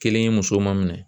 Kelen ye muso ma minɛ.